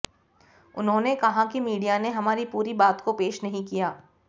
उन्होंने कहा कि मीडिया ने हमारी पूरी बात को पेश नहीं किया